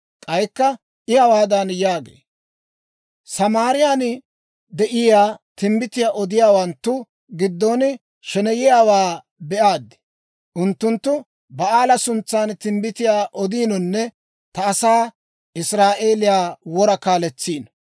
K'aykka I hawaadan yaagee; «Samaariyaan de'iyaa timbbitiyaa odiyaawanttu giddon sheneyiyaawaa be'aad. Unttunttu Ba'aala suntsan timbbitiyaa odiinonne ta asaa Israa'eeliyaa wora kaaletsiino.